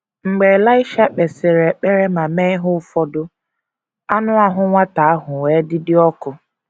Mgbe Elaịsha kpesịrị ekpere ma mee ihe ụfọdụ, “ anụ ahụ nwata ahụ wee dị dị ọkụ. ”